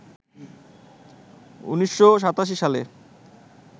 ১৯৮৭ সালে